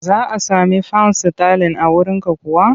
Za a sami fan sitalin a wurinka kuwa?